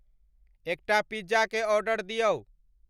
एकटा पिज़्ज़ा के ऑर्डर दियौ।